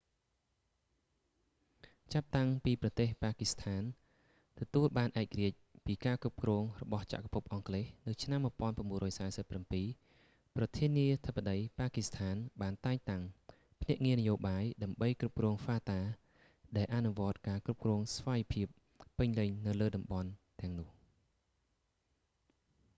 ចាប់តាំងពីប្រទេស ប៉ាគីស្ថាន ទទួលបានឯករាជ្យពីការគ្រប់គ្រងរបស់ចក្រភពអង់គ្លេសនៅឆ្នាំ 1947 ប្រធានាធិបតី ប៉ាគីស្ថានបានតែងតាំង ភ្នាក់ងារនយោបាយ ដើម្បីគ្រប់គ្រង fata ដែលអនុវត្តការគ្រប់គ្រងស្វ័យភាពពេញលេញនៅលើតំបន់ទាំងនោះ